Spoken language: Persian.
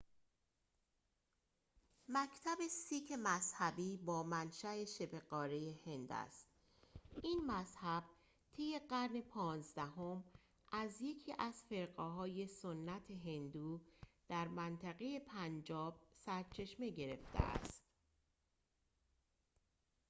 مکتب سیک مذهبی با منشأ شبه‌قاره هند است این مذهب طی قرن پانزدهم از یکی از فرقه‌های سنت هندو در منطقه پنجاب سرچشمه گرفته است